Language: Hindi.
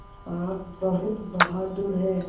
आप बहुत बहादुर हैं